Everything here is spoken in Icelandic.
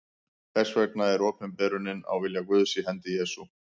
Þess vegna er opinberunin á vilja Guðs í hendi Jesú.